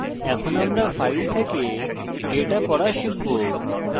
এখন আমরা file থেকে ডেটা পড়া শিখব